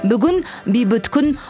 бүгін бейбіт күн